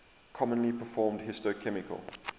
commonly performed histochemical